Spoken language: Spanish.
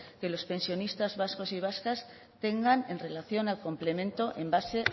que los pensionistas vascos y vascas tengan en relación al complemento en base